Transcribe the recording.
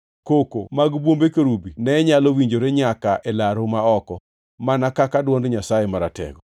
Koko mag bwombe kerubi ne nyalo winjore nyaka e laru ma oko, mana kaka dwond Nyasaye Maratego.